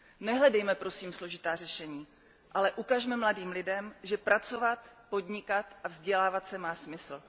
Nehledejme, prosím, složitá řešení, ale ukažme mladým lidem, že pracovat, podnikat a vzdělávat se má smysl.